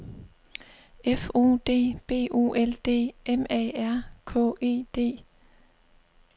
F O D B O L D M A R K E D